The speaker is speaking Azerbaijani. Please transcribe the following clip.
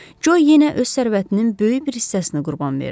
Co yenə öz sərvətinin böyük bir hissəsini qurban verdi.